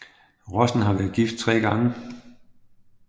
Rosen har været gift tre gange